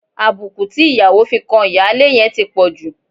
Àbùkù tí ìyàwó fi kan ìyáálé yẹn ti pọ̀ jù.